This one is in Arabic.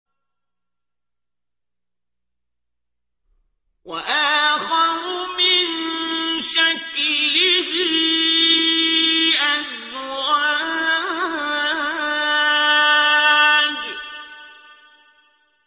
وَآخَرُ مِن شَكْلِهِ أَزْوَاجٌ